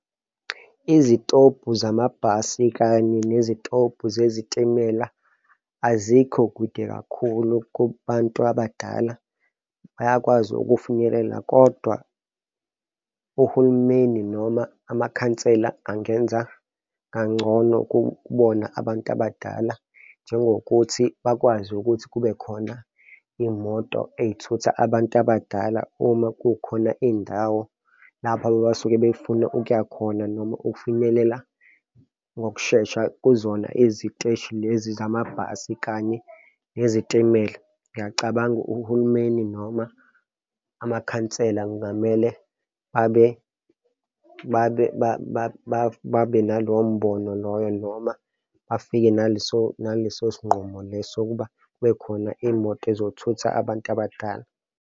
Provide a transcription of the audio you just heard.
Izitobhu zamabhasi kanye nezitobhu zezitimela azikho kude kakhulu kubantu abadala bayakwazi ukufinyelela, kodwa uhulumeni noma amakhansela angenza kangcono kubona abantu abadala, njengokuthi bakwazi ukuthi kube khona imoto ey'thutha abantu abadala uma kukhona iy'ndawo lapho abasuke befuna ukuya khona noma ukufinyelela ngokushesha kuzona iziteshi lezi zamabhasi kanye nezitimela. Ngiyacabanga uhulumeni noma amakhansela kungamele babe, babe babe nalowo mbono loyo noma bafike naleso, naleso sinqumo leso ukuba kube khona imoto ezothutha abantu abadala.